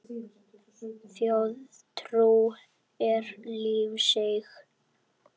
Þjóðtrú er lífseig.